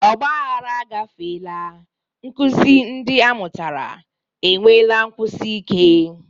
Ọgba aghara agafeela, nkuzi ndị amụtara, enweela nkwụsi ike.